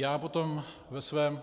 Já potom ve svém